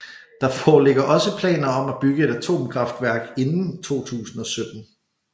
Der foreligger også planer om at bygge et atomkraftværk inden 2017